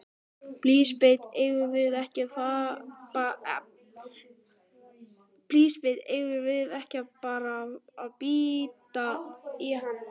Elísabet: Eigum við ekki bara að bíta í hann?